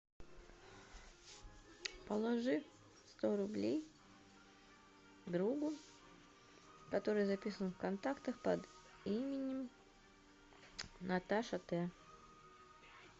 положи сто рублей другу который записан в контактах под именем наташа т